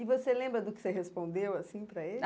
E você lembra do que você respondeu, assim, para ele?